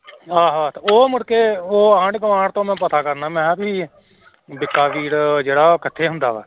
ਆਹੋ ਆਹੋ ਤੇ ਉਹ ਮੁੜਕੇ ਉਹ ਆਂਢ ਗੁਆਂਢ ਤੋਂ ਮੈਂ ਪਤਾ ਕਰਨਾ ਮੈਂ ਕਿਹਾ ਵੀ ਬਿੱਕਾ ਵੀਰ ਜਿਹੜਾ ਉਹ ਕਿੱਥੇ ਹੁੰਦਾ ਵਾ